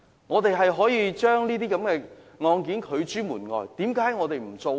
我們是可以將"假難民"拒諸門外的，為甚麼不那樣做呢？